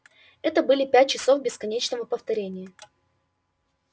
это были пять часов бесконечного повторения